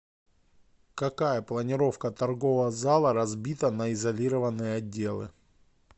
какая планировка торгового зала разбита на изолированные отделы